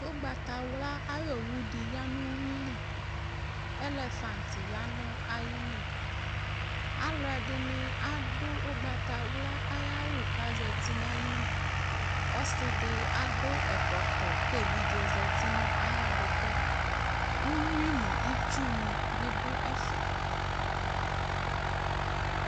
Ʋgbatawla ayʋ owu dɩ ya nʋ uyui li Elefant ya nʋ ayili Alʋɛdɩnɩ adʋ ʋgbatawla ayʋ awʋ kʋ azati nʋ ayili Ɔsɩ dɩ adʋ ɛkɔtɔ kʋ evidze dɩ zati nʋ ayʋ adʋkʋ yɛ Uyui nʋ itsunɩ bɩ dʋ ɛfɛ